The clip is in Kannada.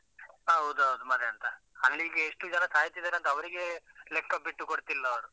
ಹೌದು ಹೌದು ಮತ್ತೇಂತ. ಅಲ್ಲಿಗೆ ಎಷ್ಟು ಜನ ಸಾಯ್ತಿದ್ದಾರೆ ಅಂತ ಅವರಿಗೇ ಲೆಕ್ಕ ಬಿಟ್ಟು ಕೊಡ್ತಾ ಇಲ್ಲ ಅವರು.